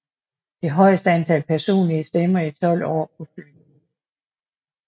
Det højeste antal personlige stemmer i 12 år på Fyn